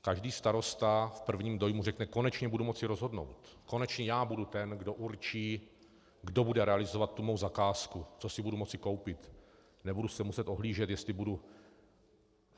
Každý starosta v prvním dojmu řekne: konečně budu moci rozhodnout, konečně já budu ten, kdo určí, kdo bude realizovat tu mou zakázku, co si budu moci koupit, nebudu se muset ohlížet, jestli budu...